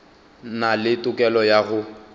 na le tokelo ya go